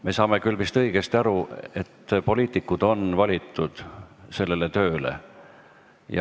Me saame vist küll õigesti aru, et poliitikud on sellele tööle valitud.